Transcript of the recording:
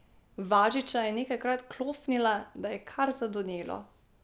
Važiča je nekajkrat klofnila, da je kar zadonelo.